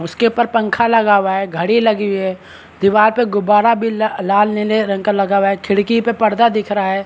उसके पर पंखा लगा हुआ है घड़ी लगी हुई है दीवार पर गुब्बारा भी ला लाल नीले रंग का लगा हुआ है खिड़की पे पर्दा दिख रहा है।